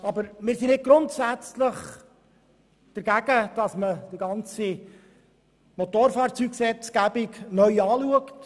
Allerdings sind wir nicht grundsätzlich dagegen, dass man die Motorfahrzeuggesetzgebung neu überdenkt.